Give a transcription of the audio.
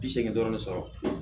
Bi seegin dɔrɔn ne sɔrɔ